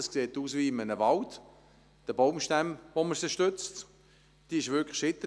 Dort sieht es, wegen der Baumstämme, mit denen sie gestützt wird, aus wie in einem Wald.